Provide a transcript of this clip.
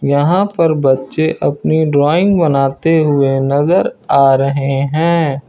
यहां पर बच्चे अपनी ड्राइंग बनाते हुए नजर आ रहे हैं।